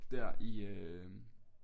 Dér i øh